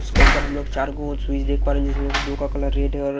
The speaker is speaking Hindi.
उसके ऊपर हम लोग चार गो स्विच देख पा रहे है जिसमें से दो का कलर रेड है और--